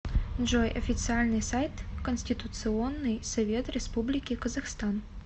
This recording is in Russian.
джой официальный сайт конституционный совет республики казахстан